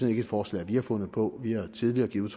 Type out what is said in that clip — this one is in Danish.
er et forslag vi har fundet på vi har tidligere givet